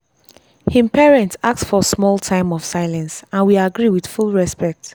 him parents ask for small time of silence and we agree with full respect.